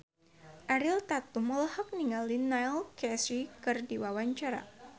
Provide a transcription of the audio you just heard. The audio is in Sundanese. Ariel Tatum olohok ningali Neil Casey keur diwawancara